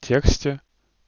тексте